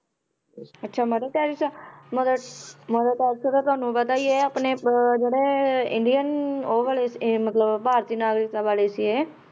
ਅੱਛਾ mother Teresa mother mother Teresa ਤਾਂ ਤੁਹਾਨੂੰ ਪਤਾ ਹੀ ਹੈ ਆਪਣੇ ਅਹ ਜਿਹੜੇ ਇੰਡੀਅਨ ਉਹ ਵਾਲੇ ਮਤਲਬ ਭਾਰਤੀ ਨਾਗਰਿਕਤਾ ਵਾਲੀ ਸੀ ਇਹ।